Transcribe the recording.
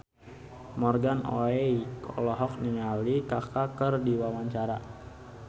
Morgan Oey olohok ningali Kaka keur diwawancara